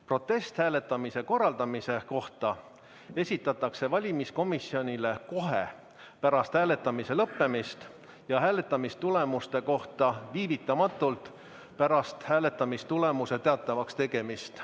Protest hääletamise korraldamise kohta esitatakse valimiskomisjonile kohe pärast hääletamise lõppemist ja hääletamistulemuste kohta viivitamatult pärast hääletamistulemuste teatavaks tegemist.